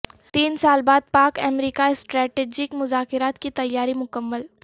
تین سال بعد پاک امریکہ اسٹریٹیجک مذاکرات کی تیاری مکمل